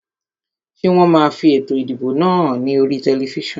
Ṣé wọn máa fi ètò ìdìbò náà hàn ní oríi tẹlifísàn?